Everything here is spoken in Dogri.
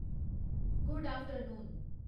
good afternoon